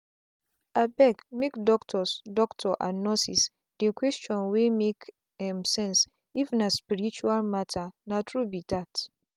abegmake doctors doctors and nurses dey questions wey make um sense if na spirtual matter na true be that.